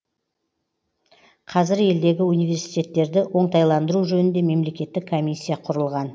қазір елдегі университеттерді оңтайландыру жөнінде мемлекеттік комиссия құрылған